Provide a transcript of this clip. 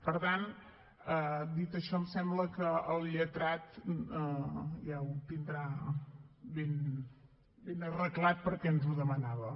per tant dit això em sembla que el lletrat ja ho tindrà ben arreglat perquè ens ho demanava